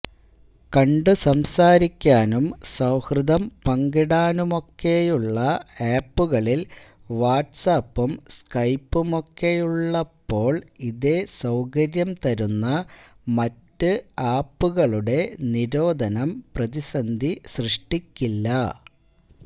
കണ്ടുസംസാരിക്കാനും സൌഹൃദം പങ്കിടാനുമൊക്കെയുള്ള ആപ്പുകളില് വാട്സാപ്പും സ്കൈപ്പുമൊക്കെയുള്ളപ്പോള് ഇതേസൌകര്യം തരുന്ന മറ്റ് ആപ്പുകളുടെ നിരോധനം പ്രതിസന്ധി സൃഷ്ടിക്കില്ല